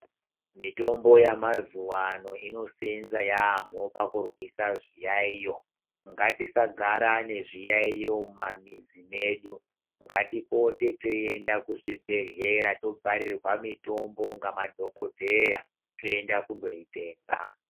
Mitombo yemazuva ano inosenze yamho pakurwisa zviyayiyo ngatisagara nezviyayiyo mumamizi medu ngatipote teienda kuzvibhehlera toparirwa mitombo ngemadhokodheya toenda kunoitenga.